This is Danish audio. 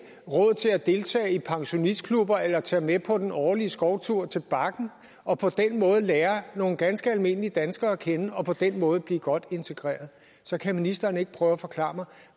har råd til at deltage i pensionistklubber eller tage med på den årlige skovtur til bakken og lære nogle ganske almindelige danskere at kende og på den måde blive godt integreret så kan ministeren ikke prøve at forklare mig